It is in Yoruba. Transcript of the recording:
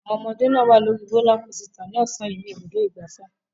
Àwọn ọmọdé náà wà lórí rólá kosità lọ́sàn-án yìí ní Ibùdó-ìgbafẹ́.